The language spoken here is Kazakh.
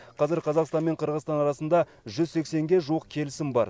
қазір қазақстан мен қырғызстан арасында жүз сексенге жуық келісім бар